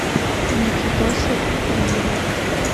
никитоса ивлева